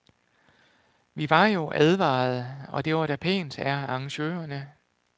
Vi var jo advarede, og det var da pænt af arrangørerne.